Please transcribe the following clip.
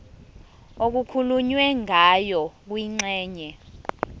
okukhulunywe ngayo kwingxenye